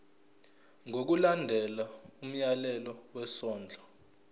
ngokulandela umyalelo wesondlo